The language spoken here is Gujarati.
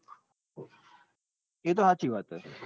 એ તો હાચી વાત છે.